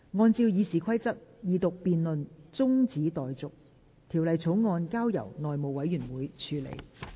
按照《議事規則》，二讀辯論中止待續，條例草案交由內務委員會處理。